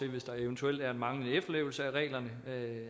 at hvis der eventuelt er en manglende efterlevelse af reglerne